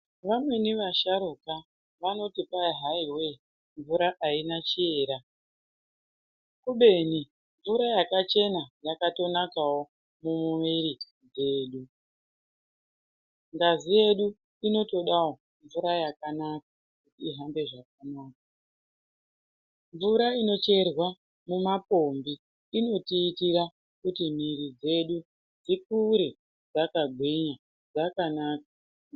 Vamweni vasharuka vanoti kwai hai wee mvura aina chiera, kubeni mvura yakachena yakatonakawo kumwiri kwedu. Ngazi yedu inotodawo mvura yakanaka kuti ihambe zvakanaka. Mvura inocherwa mumapombi inotiitira kuti mwiri dzedu dzikure dzakagwinya, dzakanaka.